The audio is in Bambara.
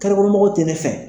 Karekɔnɔmɔgɔw tɛ ne fɛ!